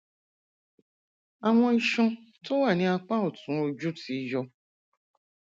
àwọn iṣan tó wà ní apá ọtún ojú ti yọ